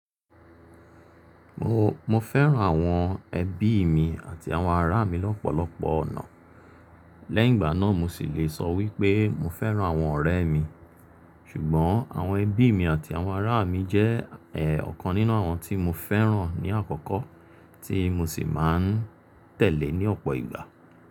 Mo, mo fẹ́ràn àwọn ẹbí mi àti àwọn ará mi lọ́pọ̀lọpọ̀ ọ̀nà. Lẹ́yìn ìgbà náà mo sì lè sọ wípé mo fẹ́ràn àwọn ọ̀rẹ́ mi. Ṣùgbọ́n àwọn ẹbí mi àti àwọn ará mi jẹ́ ọ̀kan nínú àwọn tí mo fẹ́ràn ní àkọ́kọ́, tí mo sì máa ń tẹ̀lé ní ọ̀pọ̀ ìgbà.